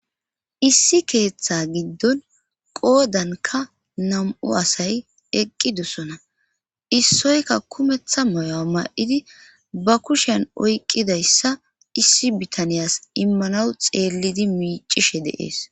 issi keeththa giddon qoodanka nam7u asay eqqidusona issoyka kumetha moyoa ma7idi ba kushen oyqqidayssa issi bitaniyas immanaw xeellidi miicishe deees